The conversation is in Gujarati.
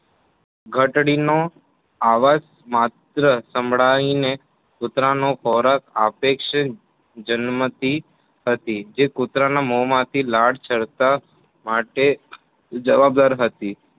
ઘંટીનો અવાજ માત્ર સાંભળાય ને કુતરાનો ખોરાક આપેક્ષે જન્મ થી હતી જે કૂતરાં મોમાં થી લાળ સરતા માટે જવાબદાર હતી.